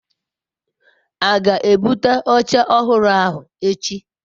a ga-ebute oche ohuru ahu echi?